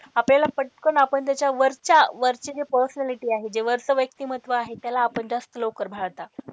आपल्याला पटकन आपण त्याच्या वरच्या वरची जी personality आहे जे वरच व्यक्तिमत्व आहे त्याला आपण जास्त लवकर भाळता.